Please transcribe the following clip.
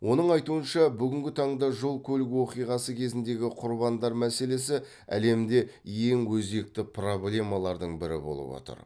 оның айтуынша бүгінгі таңда жол көлік оқиғасы кезіндегі құрбандар мәселесі әлемде ең өзекті проблемалардың бірі болып отыр